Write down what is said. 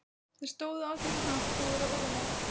Þeir stóðu allir í hnapp og voru óðamála.